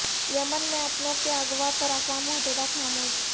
یمن میں اپنوں کے اغوا پر اقوام متحدہ خاموش